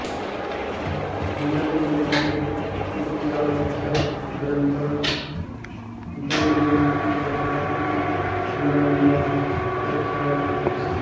नलचम्पूः इत्याख्यः ग्रन्थः दमयन्तीकथा इति नाम्नापि प्रख्यातः अस्ति